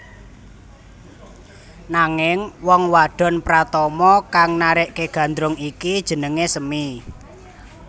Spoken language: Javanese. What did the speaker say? Nanging wong wadon pratama kang narèkke Gandrung iki jenengé Semi